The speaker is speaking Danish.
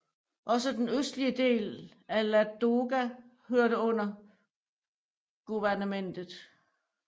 Også den østlige del af Ladoga hørte under guvernementet